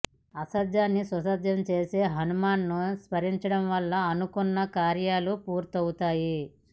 అసాధ్యాన్ని సుసాధ్యం చేసే హనుమాన్ను స్మరించడం వల్ల అనుకున్న కార్యాలు పూర్తవుతాయి